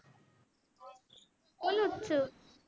બોલુજ છું